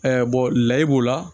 layi b'o la